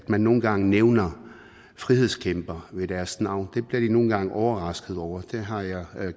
man nogle gange nævner frihedskæmpere ved deres navn bliver de nogle gange overraskede over det har jeg